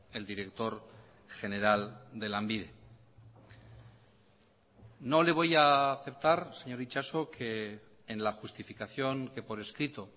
el director general de lanbide no le voy a aceptar señor itxaso que en la justificación que por escrito